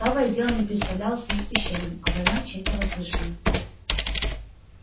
правое дело не представлялось ей священным а война чем-то возвышенным